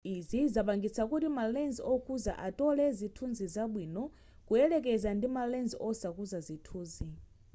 izi zapangitsa kuti ma lens okuza atole zithunzi zabwino kuyelekeza ndi ma lens osakuza zithunzi